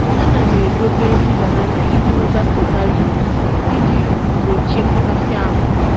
Ana m edobe nri banana iji nweta potajiụm iji gbochie mgbakasị ahụ.